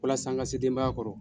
Walasa n ka se denbaya kɔrɔ.